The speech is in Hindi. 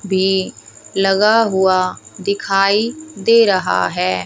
भी लगा हुआ दिखाई दे रहा है।